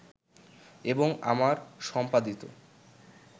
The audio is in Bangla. এবং আমার সম্পাদিত